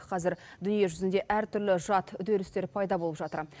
қазір дүниежүзінде әртүрлі жат үдерістер пайда болып жатыр